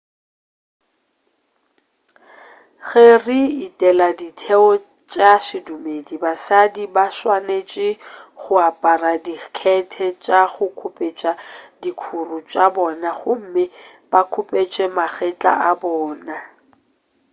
ge re etela ditheo tša sedumedi basadi ba swanetše go apara dikhethe tša go khupetša dikhuru tša bona gomme ba khupetše magetla a bona